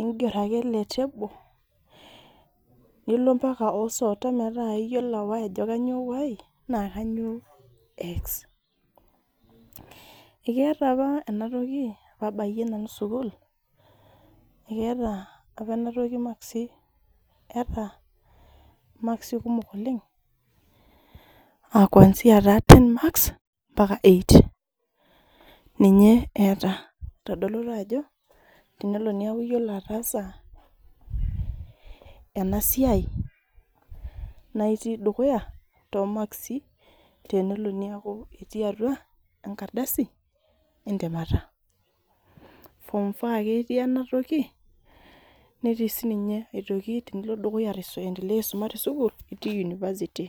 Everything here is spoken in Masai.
inger ake ele table nilo mpaka metaa iyiolou ajo kainyo y naa kainyoo x.Ekeeta apa ena toki abayie nanu sukul ,Ekeeta apa makisi kumok oleng ,kwansi taa ten marks mpaka eight ninye eeta .Eitodolu apa ajo tenelo neeku iyiolo ataasa ena siai ,naa itii dukuya toomakisi tenelo neeku ketii atua enkardasi entemata .form four apa etii ena toki netii sii ninye dukuya tenilo aendelea tesukul itii university.